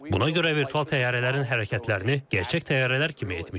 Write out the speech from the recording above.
Buna görə virtual təyyarələrin hərəkətlərini gerçək təyyarələr kimi etmişik.